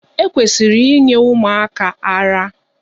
E kwesịrị inye ụmụaka ara.